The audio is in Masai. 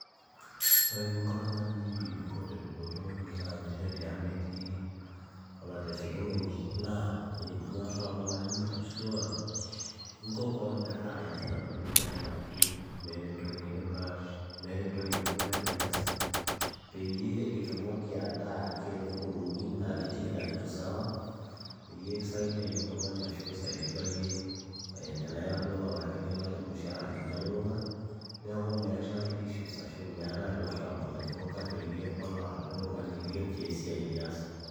ore eninko oltung'ani pibikoo tedupoto ingira aanyisho tiang' metii olaitashekinoni naa inyorraa oltung'ani ashua inko koon metaa iyasita intokitin enaake meeta entoki nikipaash meeta entoki ning'ua etu iyas peyie itumoki ataa ake eneponunui naa ketii kila kitu sawa peyie kisaidia iyie oltung'ani ashu isaidika yie tenaira duo ololaki nikilaki ormushaara lino elulung'a neeku meetae issues ashu meetae olarrabal ojing'u kati[cs eyie oladuo tung'ani likinchoo esiai niyas.